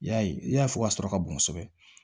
Yaye i ya fɔ ka sɔrɔ ka bon kosɛbɛ